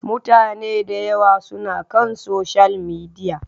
Mutane da yawa suna kan Social Media.